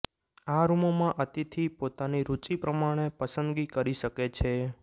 આ રૂમોમાં અતિથિ પોતાની રૂચી પ્રમાણે પસંદગી કરી શકે છે